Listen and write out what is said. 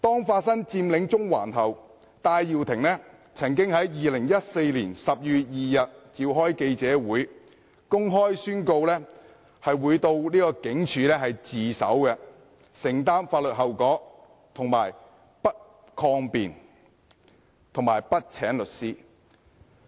發生佔領中環後，戴耀廷曾經在2014年12月2日召開記者會，公開宣告會到警署自首，承擔法律後果，而且不會抗辯、不會請律師。